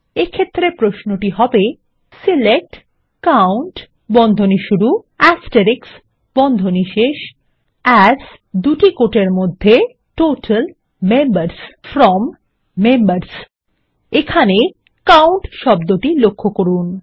এক্ষেত্রে প্রশ্নটি হবে160 select COUNT as total members from members এখানে কাউন্ট শব্দটি লক্ষ্য করুন